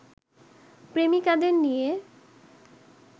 প্রেমিকাদের নিয়ে